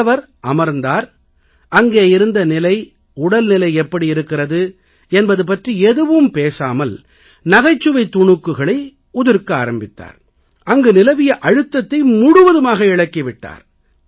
வந்தவர் அமர்ந்தார் அங்கே இருந்த நிலை உடல்நிலை எப்படி இருக்கிறது என்பது பற்றி எதுவும் பேசாமல் நகைச்சுவை துணுக்குகளை உதிர்க்க ஆரம்பித்தார் அங்கு நிலவிய அழுத்தத்தை முழுவதுமாக இளக்கி விட்டார்